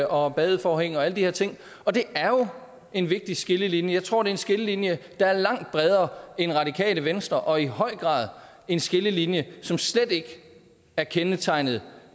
og badeforhæng og alle de her ting og det er jo en vigtig skillelinje jeg tror at en skillelinje der er langt bredere end radikale venstre og i høj grad en skillelinje som slet ikke er kendetegnet